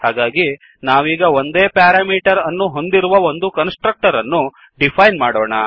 ಹಾಗಾಗಿ ನಾವೀಗ ಒಂದೇ ಪ್ಯಾರಾಮೀಟರ್ ಅನ್ನು ಹೊಂದಿರುವ ಒಂದು ಕನ್ಸ್ ಟ್ರಕ್ಟರ್ ಅನ್ನು ಡಿಫೈನ್ ಮಾಡೋಣ